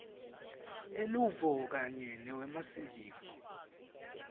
eluvo kanye newemasiko